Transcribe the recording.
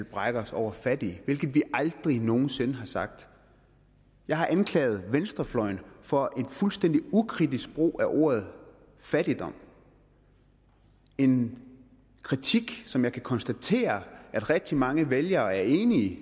brækker os over fattige hvilket vi aldrig nogen sinde har sagt jeg har anklaget venstrefløjen for en fuldstændig ukritisk brug af ordet fattigdom en kritik som jeg kan konstatere at rigtig mange vælgere er enige i